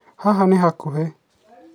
haha ni hakuhe